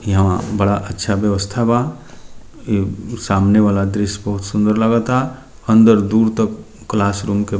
यहाँ बड़ा अच्छा व्यवस्था बा ई सामने वाला दृश्य बहुत सुन्दर लागता अंदर दूर तक क्लासरूम के --